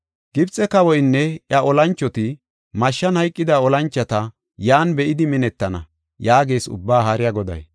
“Gibxe kawoynne iya olanchoti, mashshan hayqida olanchota yan be7idi minettana” yaagees Ubbaa Haariya Goday.